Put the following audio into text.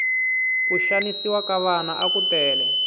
ku xanisiwa ka vana aku tele